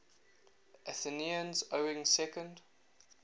athenians owning second